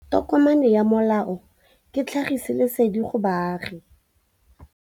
Tokomane ya molao ke tlhagisi lesedi go baagi.